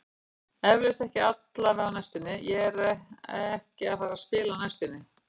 Eflaust, ekki allavega á næstunni, ég er ekki að fara að spila á næstunni.